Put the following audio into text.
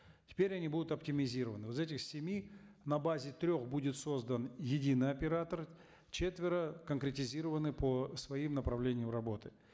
теперь они будут оптимизированы из этих семи на базе трех будет создан единый оператор четверо конкретизированы по своим направлениям работы